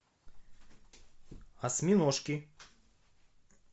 осьминожки